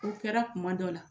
O kɛra kuma dɔw la